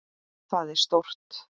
Það er stórt.